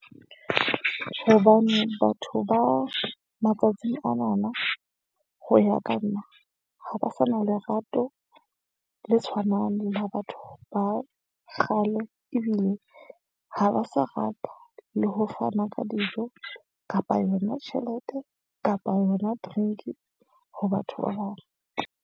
Hobane batho ba matsatsing ana na ho ya ka nna, ha ba sa na lerato le tshwanang le la batho ba kgale. Ebile ha ba sa rata le ho fana ka dijo kapa yona tjhelete kapa yona drink-i, ho batho ba bang.